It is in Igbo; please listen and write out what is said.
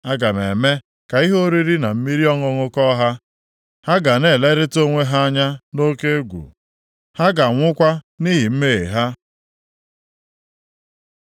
Aga m eme ka ihe oriri na mmiri ọṅụṅụ kọọ ha. Ha ga na-elerịta onwe ha anya nʼoke egwu, ha ga-anwụkwa nʼihi mmehie ha.”